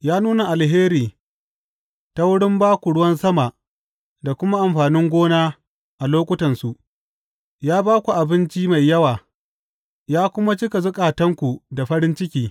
Ya nuna alheri ta wurin ba ku ruwan sama da kuma amfanin gona a lokutansu; ya ba ku abinci mai yawa ya kuma cika zukatanku da farin ciki.